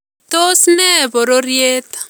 Tos ne bororyeet?